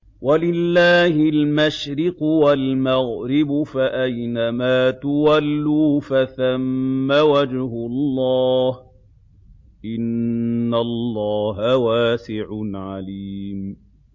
وَلِلَّهِ الْمَشْرِقُ وَالْمَغْرِبُ ۚ فَأَيْنَمَا تُوَلُّوا فَثَمَّ وَجْهُ اللَّهِ ۚ إِنَّ اللَّهَ وَاسِعٌ عَلِيمٌ